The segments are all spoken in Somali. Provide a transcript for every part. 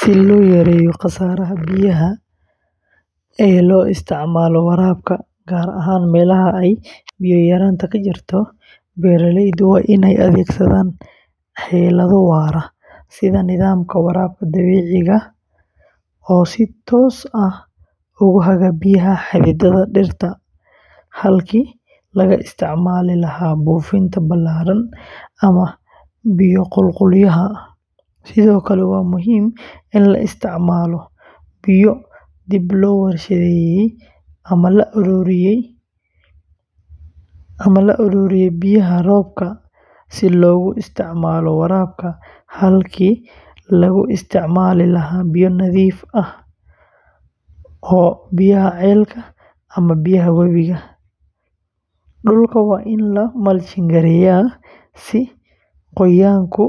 Si loo yareeyo khasaaraha biyaha ee loo isticmaalo waraabka, gaar ahaan meelaha ay biyo yaraantu ka jirto, beeraleydu waa inay adeegsadaan xeelado waara sida nidaamka waraabka dhibicda oo si toos ah ugu haga biyaha xididada dhirta halkii laga isticmaali lahaa buufin ballaaran ama biyo qulqulaya, sidoo kale waa muhiim in la isticmaalo biyo dib loo warshadeeyey ama la ururiyo biyaha roobka si loogu isticmaalo waraabka halkii laga isticmaali lahaa biyo nadiif ah oo ceel ama webi ah, dhulka waa in la mulching-gareeyaa si qoyaanku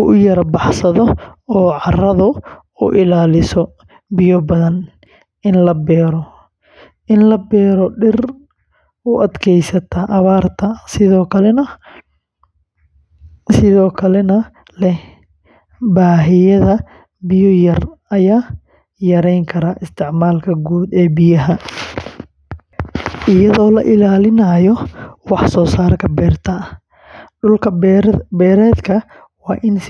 u yara baxsado oo carradu u ilaaliso biyo badan, in la beero dhir u adkaysata abaarta sidoo kalena leh baahida biyo yar ayaa yareyn karta isticmaalka guud ee biyaha, iyadoo la ilaalinayo wax-soosaarka beerta, dhul-beereedka waa in si joogto ah.